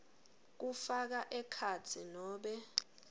kufaka ekhatsi nobe